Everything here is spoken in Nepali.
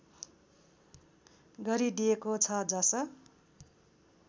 गरिदिएको छ जस